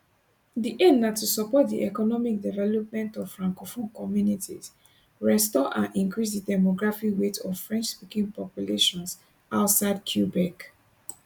di aim na to support di economic development of francophone communities restore and increase di demographic weight of frenchspeaking populations outside quebec